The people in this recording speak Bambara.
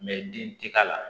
bin tɛ k'a la